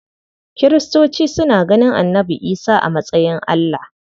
Kiristoci suna ganin Annabi Isa a matsayin Allah.